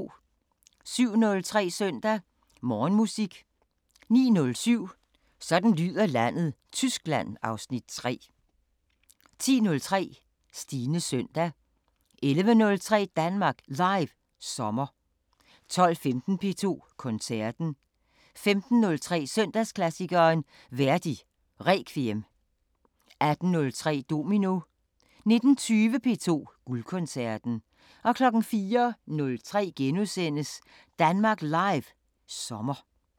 07:03: Søndag Morgenmusik 09:07: Sådan lyder landet: Tyskland (Afs. 3) 10:03: Stines Søndag 11:03: Danmark Live sommer 12:15: P2 Koncerten 15:03: Søndagsklassikeren – Verdi Requiem 18:03: Domino 19:20: P2 Guldkoncerten 04:03: Danmark Live sommer *